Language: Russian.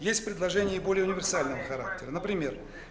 есть предложение более универсального характера например